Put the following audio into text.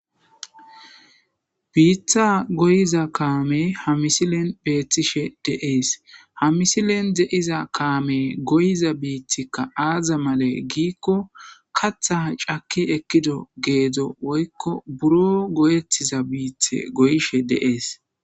biitha goyiza kaame ha misilen beethtishe deees ha misilen de7iza kaame goyiza biitikka aaza male giikko kathaha cake ekkido geedzo woykko buro goyettiza biithe goyishe deees